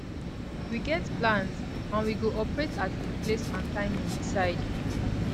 we get plans and we go operate at di place and time we decide